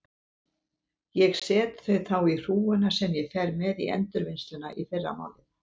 Ég set þau þá í hrúguna sem ég fer með í endurvinnsluna í fyrramálið.